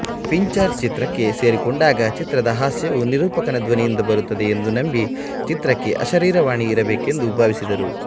Fincher ಚಿತ್ರಕ್ಕೆ ಸೇರಿಕೊಂಡಾಗ ಚಿತ್ರದ ಹಾಸ್ಯವು ನಿರೂಪಕನ ಧ್ವನಿಯಿಂದ ಬರುತ್ತದೆ ಎಂದು ನಂಬಿ ಚಿತ್ರಕ್ಕೆ ಅಶರೀರವಾಣಿ ಇರಬೇಕೆಂದು ಭಾವಿಸಿದರು